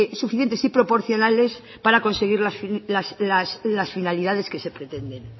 suficientes y proporcionales para conseguir las finalidades que se pretenden